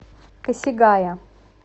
косигая